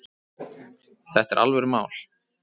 Þetta er alvörumál